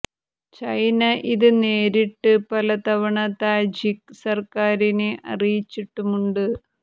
China ഇത് നേരിട്ട് പല തവണ താജിക് സര്ക്കാരിനെ അറിയിച്ചിട്ടുമുണ്ട്